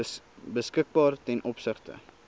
beskikbaar ten opsigte